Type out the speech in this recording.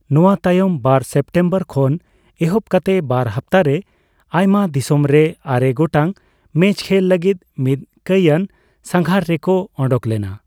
ᱱᱚᱣᱟ ᱛᱟᱭᱚᱢ ᱵᱟᱨ ᱥᱮᱯᱴᱮᱢᱵᱚᱨ ᱠᱷᱚᱱ ᱮᱦᱚᱵ ᱠᱟᱛᱮ ᱵᱟᱨ ᱦᱚᱯᱛᱟ ᱨᱮ ᱟᱭᱢᱟ ᱫᱤᱥᱚᱢ ᱨᱮ ᱟᱨᱮ ᱜᱚᱴᱟᱝ ᱢᱮᱹᱪ ᱠᱷᱮᱞ ᱞᱟᱹᱜᱤᱫ ᱢᱤᱫ ᱠᱟᱹᱤᱭᱟᱱ ᱥᱟᱸᱜᱷᱟᱨ ᱨᱮᱠᱚ ᱳᱰᱳᱠ ᱞᱮᱱᱟ ᱾